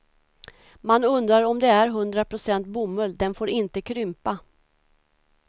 Man undrar om det är hundra procent bomull, den får inte krympa.